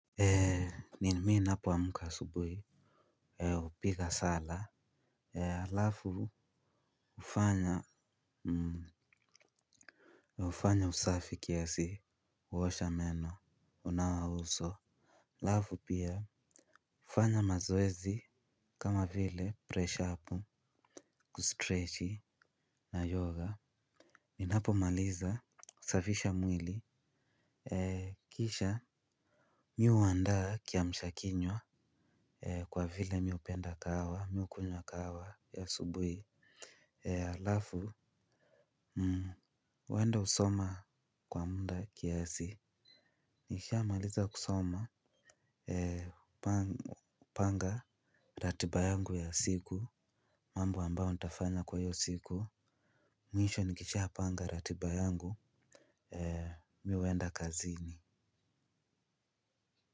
Ni mimi napoamuka asubuhi. Upiga sala alafu ufanya usafi kiasi. Huosha meno unawa uso alafu pia. Ufanya mazoezi kama vile presha apu kustretchi na yoga ninapo maliza usafisha mwili. Kisha Mi uandaa kiamsha kinywa. Kwa vile mi hupenda kahawa mi ukunywa kahawa ya asubui alafu huenda usoma kwa muda kiasi nisha maliza kusoma panga ratiba yangu ya siku mambo ambao nitafanya kwa hiyo siku mwisho nikisha panga ratiba yangu mi huenda kazini.